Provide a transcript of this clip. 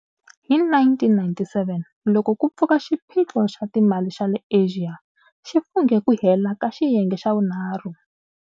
Hi 1997, loko ku pfuka xiphiqo xa timali xa le Asia, xi funghe ku hela ka xiyenge xa vunharhu.